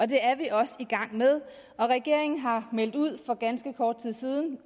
det er vi også i gang med og regeringen har meldt ud for ganske kort tid siden